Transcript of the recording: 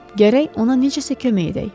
Gərək ona necəsə kömək edək.